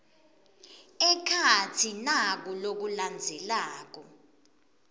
ekhatsi naku lokulandzelako